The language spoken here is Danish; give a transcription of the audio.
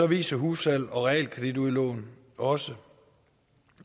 viser hussalg og realkreditudlån også